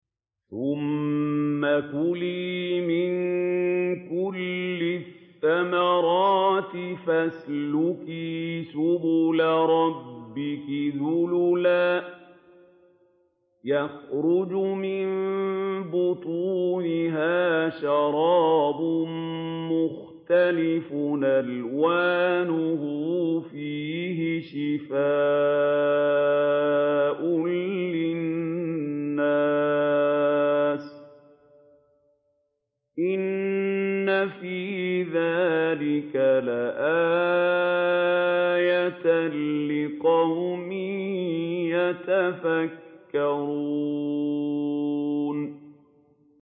ثُمَّ كُلِي مِن كُلِّ الثَّمَرَاتِ فَاسْلُكِي سُبُلَ رَبِّكِ ذُلُلًا ۚ يَخْرُجُ مِن بُطُونِهَا شَرَابٌ مُّخْتَلِفٌ أَلْوَانُهُ فِيهِ شِفَاءٌ لِّلنَّاسِ ۗ إِنَّ فِي ذَٰلِكَ لَآيَةً لِّقَوْمٍ يَتَفَكَّرُونَ